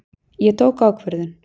Ég tók ákvörðun.